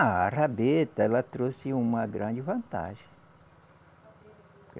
Ah, a rabeta ela trouxe uma grande vantagem.